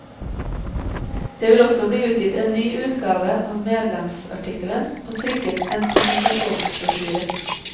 Det vil også bli utgitt en ny utgave av medlemsmatrikkelen, og trykket en presentasjonsbrosjyre.